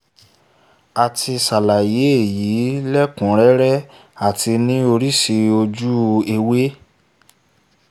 a ti ṣàlàyé èyí lẹ́kùún rẹ́rẹ́ àti ní oríṣi ojú ewé